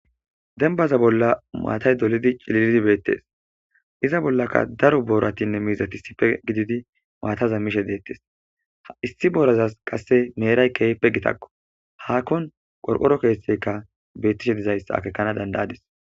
denbaza bolla maatay dolidi cililldi beettes iza bollaka daro booratinne miizati sipe gididi maataza mishe deettes ha issi boraza qasse meeray kehpe gitakko haakkon qorqoro keesteyka beettishe dizays akekana dandayadis